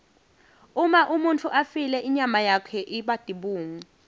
uma umuntfu afile inyama yakhe iba tibungu